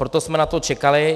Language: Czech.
Proto jsme na to čekali.